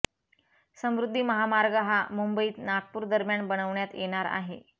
समृद्धी महामार्ग हा मुंबईत नागपूर दरम्यान बनवण्यात येणार आहे